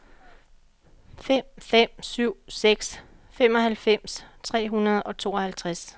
fem fem syv seks femoghalvfems tre hundrede og tooghalvtreds